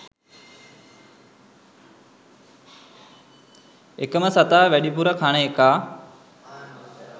එකම සතා වැඩිපුර කන එකා